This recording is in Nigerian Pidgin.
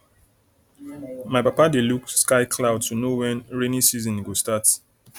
my papa dey look sky cloud to know when rainy season go start